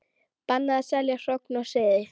Bannað að selja hrogn og seiði